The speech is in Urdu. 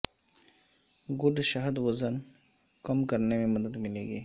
گڈ شہد وزن کم کرنے میں مدد ملے گی